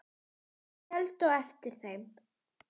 Þeir héldu á eftir þeim!